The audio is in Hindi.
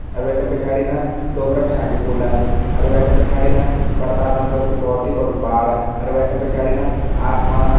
अर वेका पिछाड़ी ना डोबरा छा हा डिपोला अर वेका पिछाड़ी ना परताप नगर कू भौत ही बडू पहाड़ अर वेका पिछाड़ी ना आसमाना।